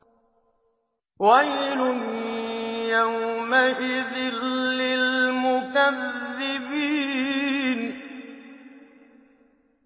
وَيْلٌ يَوْمَئِذٍ لِّلْمُكَذِّبِينَ